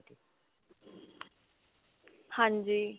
ਹਾਂਜੀ.